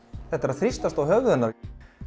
þetta er að þrýstast að höfði hennar